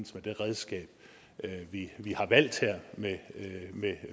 det redskab vi har valgt her med